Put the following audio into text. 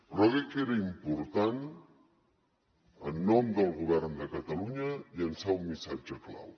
però crec que era important en nom del govern de catalunya llançar un missatge clau